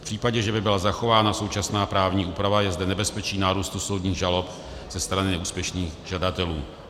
V případě, že by byla zachována současná právní úprava, je zde nebezpečí nárůstu soudních žalob ze strany neúspěšných žadatelů.